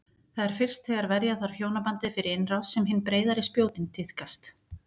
Það er fyrst þegar verja þarf hjónabandið fyrir innrás sem hin breiðari spjótin tíðkast.